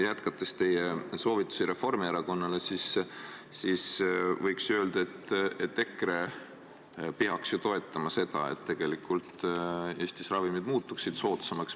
Jätkates teie soovitusi Reformierakonnale võiks öelda, et EKRE peaks ju toetama seda, et Eestis muutuksid ravimid soodsamaks.